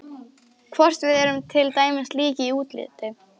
Hvort við erum til dæmis lík í útliti.